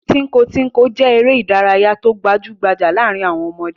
Tínko-tínko jẹ́ eré-idárayá tó gbajú-gbajà láàárin àwọn ọmọdé.